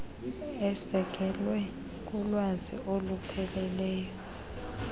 esekelwe kulwazi olupheleleyo